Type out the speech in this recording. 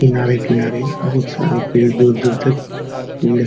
किनारे-किनारे बोहोत सारे पेड़ दूर-दूर तक पेड़ --